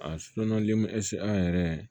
A ɛsike an yɛrɛ